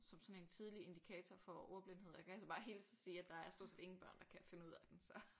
Som sådan en tidlig indikator for ordblindhed og jeg kan altså bare hilse og sige at der er stort set ingen børn der kan finde ud af den så